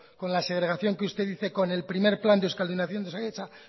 con la segregación que usted dice con el primer plan de euskaldunización de osakidetza